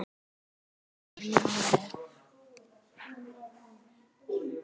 Sumir koma til Noregs.